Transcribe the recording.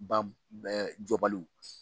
Ba jɔbaliw.